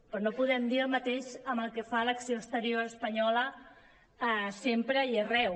però no podem dir el mateix amb el que fa l’acció exterior espanyola sempre i arreu